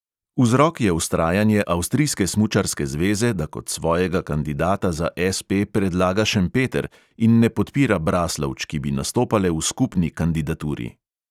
Vzrok je vztrajanje avstrijske smučarske zveze, da kot svojega kandidata za SP predlaga šempeter in ne podpira braslovč, ki bi nastopale v skupni kandidaturi.